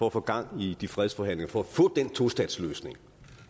at få gang i de fredsforhandlinger for at få den tostatsløsning